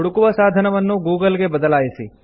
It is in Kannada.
ಹುಡುಕುವ ಸಾಧಕವನ್ನು ಗೂಗಲ್ ಗೆ ಬದಲಾಯಿಸಿ